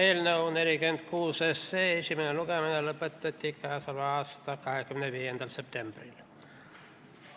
Eelnõu 46 esimene lugemine lõpetati k.a 25. septembril.